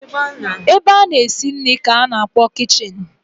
Ebe a na-esi nri ka a na-akpọ kichin.